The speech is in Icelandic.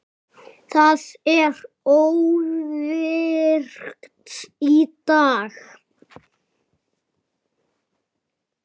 Það er óvirkt í dag.